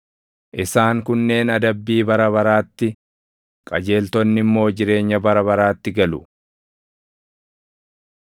“Isaan kunneen adabbii bara baraatti, qajeeltonni immoo jireenya bara baraatti galu.”